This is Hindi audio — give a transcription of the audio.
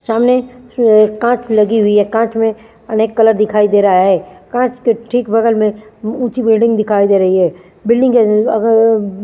सामने अ कांच लगी हुई है कांच में अनेक कलर दिखाई दे रहा है कांच के ठीक बगल में ऊंची बिल्डिंग दिखाई दे रही है बिल्डिंग के अ अगर--